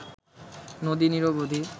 নদী নিরবধি